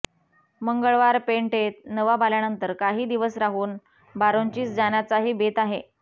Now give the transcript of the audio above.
मंगळवार पेटेंत नवाब आल्यानंतर काही दिवस राहुन बारोंचीस जाण्याचाही बेत भाहे